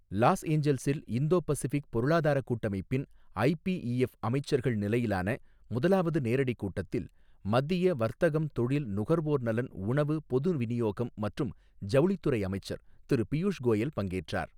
Loss ஏஞ்சல்சில் Indo Pacific பொருளாதாரக் கூட்டமைப்பின் ஐபிஇஎஃப் அமைச்சர்கள் நிலையிலான முதலாவது நேரடி கூட்டத்தில் மத்திய வர்த்தகம், தொழில், நுகர்வோர் நலன், உணவு, பொது விநியோகம் மற்றும் ஜவுளித்துறை அமைச்சர் திரு பியூஷ் கோயல் பங்கேற்றார்.